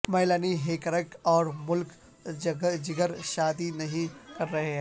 Melanie Hamrick اور Mick Jagger شادی نہیں کر رہے ہیں